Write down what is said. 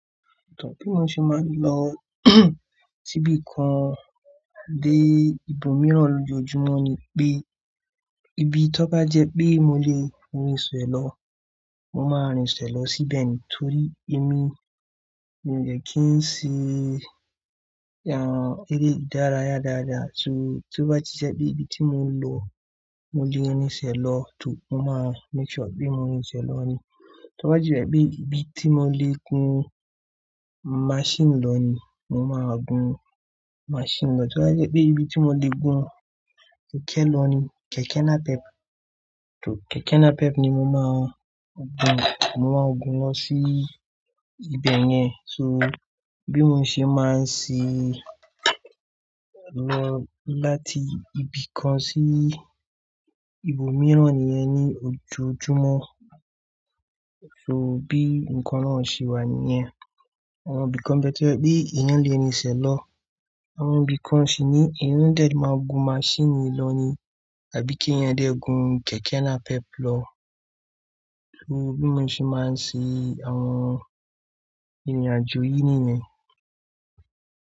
Bí mo ṣe máa ń lọ síbi kan dé ibòmíràn lójoojúmọ́ ni pé ibi tọ́ká jẹ́ pé mo lè rinṣẹ̀ lọ, mo máa rinṣẹ̀ lọ síbẹ̀ ni. Torí èmi ò yẹ kí n ṣe eré ìdárayá dáadáa. So tí ó bá ti jẹ́ pé ibi tí mo ń lọ mo lè rinṣẹ̀ lọ, tò mo máa make sure pé mo rinṣẹ̀ lọ ni. Tí ó bá ti jẹ́ pé ibi tí mo lè gún máṣíìnì lọ ni, mo máa gún máṣíìnì lọ. Tí ó bá jẹ́ pé ibi tí mo lè gún kẹ̀kẹ́ lọ ni, kẹ̀kẹ́ napep, tò kẹ̀kẹ́ napep ni mo máa gún, mo máa gún lọ sí ibẹ̀ yẹn. So bí mo ṣe máa ń ṣe lọ láti ibi kan sí ibòmíràn nìyẹn ní ojoojúmọ́. So bí ǹkan náà ṣe wà nìyẹn. Àwọn ibì kan bẹ́ẹ̀ to ye pé eyan lè rinṣẹ̀ lọ, àwọn ibì kan sì ni eyan dẹ̀ le máa gún máṣíìnì lọ ni, àbí kí eyan dẹ̀ gún kẹ̀kẹ́ napep lọ. Bí mo ṣe máa ń ṣe àwọn ìrìnàjò yìí nìyẹn.